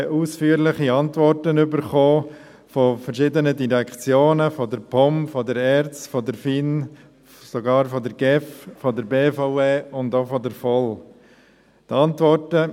Daraufhin erhielten wir von verschiedenen Direktionen – von der POM, der ERZ der FIN, sogar von der GEF, der BVE und auch von der VOL – ausführliche Antworten.